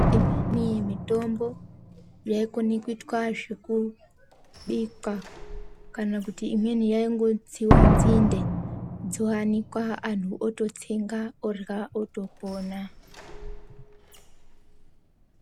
Imweni mitombo yaikona kuitwa zvekubikwa kana kuti imweni yaingotsiwa nzinde dzoanikwa anhu ototsenga orya otopona.